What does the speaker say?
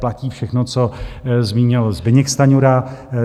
Platí všechno, co zmínil Zbyněk Stanjura.